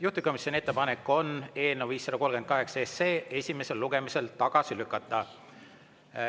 Juhtivkomisjoni ettepanek on eelnõu 538 esimesel lugemisel tagasi lükata.